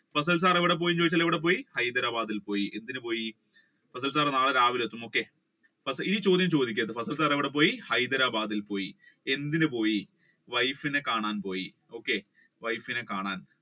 fasal sir എവിടെപ്പോയെന്ന് ചോദിച്ചാൽ ഹൈദെരാബാദിൽ പോയി എന്തിന് പോയി fasal sir നാളെ രാവിലെ എത്തും ഈ ചോദ്യം ചോദിക്കരുത് fasal sir എവിടെപ്പോയി ഹൈദെരാബാദിൽ പോയി എന്തിന് പോയി wife നെ കാണാൻ പോയി wife നെ കാണാൻ